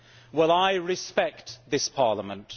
Well, I respect this Parliament.